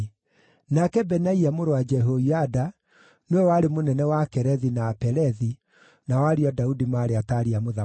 Nake Benaia mũrũ wa Jehoiada nĩwe warĩ mũnene wa Akerethi na Apelethi; nao ariũ a Daudi maarĩ ataari a mũthamaki.